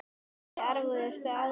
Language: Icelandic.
Ekki viss Erfiðasti andstæðingur?